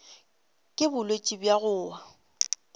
ke bolwetši bja go wa